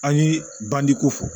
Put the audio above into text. An ye banjiko fɔ